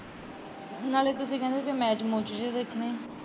ਨਾਲੇ ਤੁਸੀਂ ਕਹਿੰਦੇ ਸੀ ਗੇ ਮੈਚ ਮੂਚ ਜੇ ਦੇਖਣੇ ਆ।